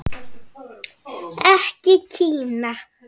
Ekki Kína.